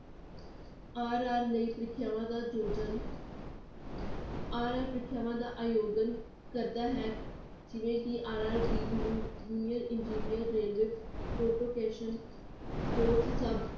RR ਲਈ ਪ੍ਰੀਖਿਆਵਾਂ ਦਾ ਯੋਜਨ RR ਪ੍ਰੀਖਿਆਵਾਂ ਦਾ ਆਯੋਜਨ ਕਰਦਾ ਹੈ ਜਿਵੇਂ ਕਿ RRB uni~ union engineer railway protection post sub